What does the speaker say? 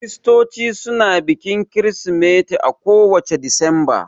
Kiristoci suna bikin kirismeti a ko wacce Disamba